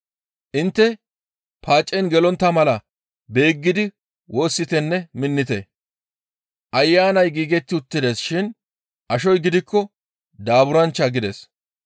Intte paacen gelontta mala beeggidi woossitenne minnite. Ayanay giigetti uttides shin ashoy gidikko daaburanchcha» gides.